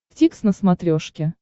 дтикс на смотрешке